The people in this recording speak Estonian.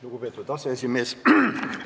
Lugupeetud aseesimees!